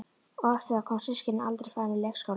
Og eftir það koma systkinin aldrei framar í leikskólann.